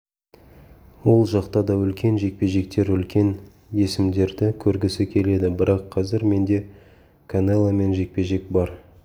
ол жақта да үлкен жекпе-жектер үлкен есімдерді көргісі келеді бірақ қазір менде канеломен жекпе-жек бар